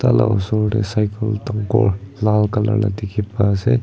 la osor deh cycle dangor lal colour la dikhi pa asey.